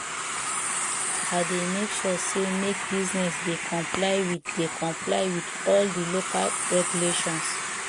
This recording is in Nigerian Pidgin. i dey make sure say make business dey comply with dey comply with all di local regulations